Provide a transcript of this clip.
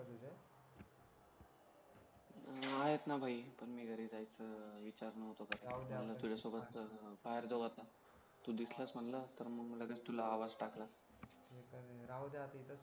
आहेत ना भाई पण मी घरीच आहे तर विचार नव्हता केला तुझ्यासोबत तर बाहेर जाऊ आता तू दिसलास म्हणला तर मग लगेच तुला आवाज टाकला